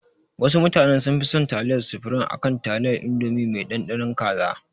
Wasu mutanen sun fi son taliyar sufurim akan taliyar indomi mai ɗanɗanon kaza